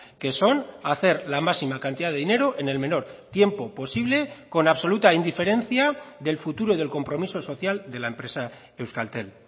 que son hacer la máxima cantidad de dinero en el menor tiempo posible con absoluta indiferencia del futuro del compromiso social de la empresa euskaltel